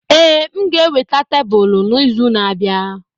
Ee, m ga-eweta tebụl n'izu na-abịa.